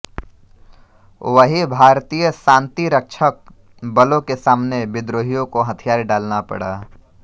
वहीं भारतीय शांति रक्षक बलों के सामने विद्रोहियों को हथियार डालना पड़ा